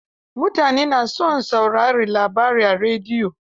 Mutane na son saurarin labarai a rediyo.